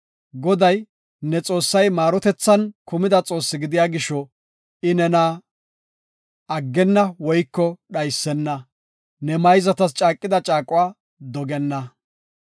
Goday, ne Xoossay maarotethan kumida Xoosse gidiya gisho, I nena aggenna woyko dhaysena; ne mayzatas caaqida caaquwa dogenna.